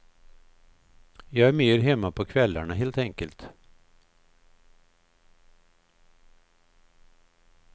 Jag är mer hemma på kvällarna helt enkelt.